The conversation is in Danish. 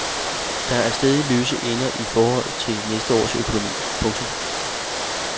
Der er stadig løse ender i forhold til næste års økonomi. punktum